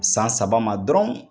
San saba ma dɔrɔn